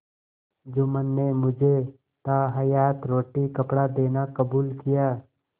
जुम्मन ने मुझे ताहयात रोटीकपड़ा देना कबूल किया